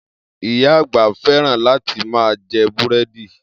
Iya àgbà fẹ́ràn láti ma jẹ́ búrẹ́dì